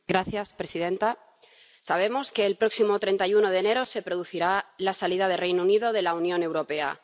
Señora presidenta, sabemos que el próximo 31 de enero se producirá la salida del Reino Unido de la Unión Europea.